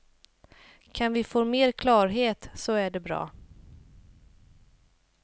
Kan vi få mer klarhet så är det bra.